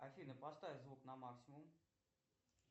афина поставь звук на максимум